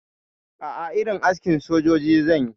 A'a, irin askin sojoji zanyi